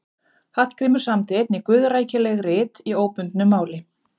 Hallgrímur samdi einnig guðrækileg rit í óbundnu máli.